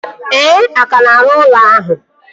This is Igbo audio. Ee, a ka na-arụ ụlọ ahụ